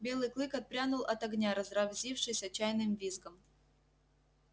белый клык отпрянул от огня разразившись отчаянным визгом